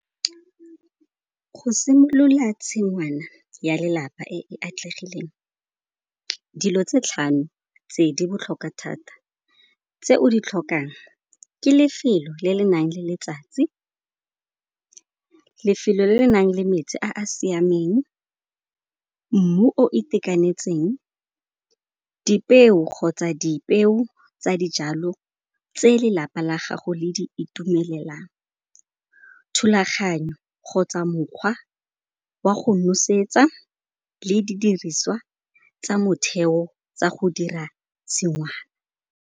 Go simolola tshingwana ya lelapa e e atlegileng dilo tse tlhano tse di botlhokwa thata. Tse o di tlhokang ke lefelo le le nang le letsatsi, lefelo le le nang le metsi a a siameng, mmu o itekanetseng dipeo kgotsa dipeo tsa dijalo tse lelapa la gago le di itumelelang, thulaganyo kgotsa mokgwa wa go nosetsa le didiriswa tsa motheo tsa go dira tshingwana.